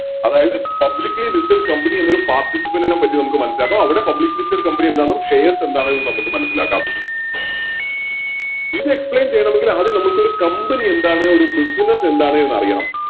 അതായത് Publicly listed company എന്നൊരു Participant നെ പറ്റി നമുക്ക് മനസിലാക്കാം അവിടെ Publicly listed company എന്താണെന്നും Shares എന്താണെന്നും നമുക്ക് മനസിലാക്കാം ഇത് Explain ചെയ്യണമെങ്കിൽ ആദ്യം നമ്മൾക്കൊരു Company എന്താണെന്ന് ഒരു Business എന്താണ് എന്നും അറിയണം